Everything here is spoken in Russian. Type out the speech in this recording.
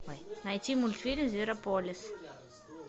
найти мультфильм зверополис